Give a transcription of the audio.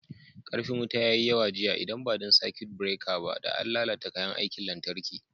Ƙarfin wuta ya yi yawa jiya, idan ba don sakut bireka ba, da an lalata kayan aikin lantarki.